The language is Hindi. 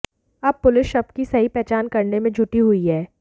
अब पुलिस शव की सही पहचान करने में जुटी हुई है